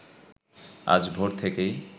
আজ ভোর থেকেই